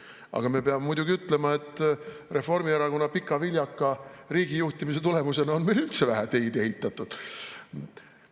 Aga me peame muidugi ütlema, et Reformierakonna pika viljaka riigijuhtimise tulemusena on meil üldse vähe teid ehitatud.